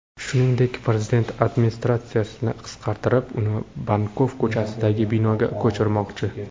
Shuningdek, prezident administratsiyasini qisqartirib, uni Bankov ko‘chasidagi binoga ko‘chirmoqchi.